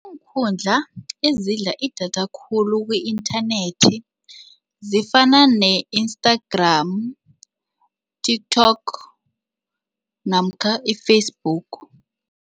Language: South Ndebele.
Iinkhundla ezidla idatha khulu ku-inthanethi zifuna ne-Instagram, TikTok namkha i-Facebook.